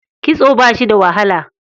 Kitso ba shi da wahala.